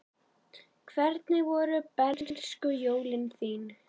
Hvernig voru bernskujólin þín?